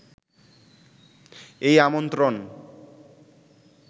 এই আমন্ত্রণ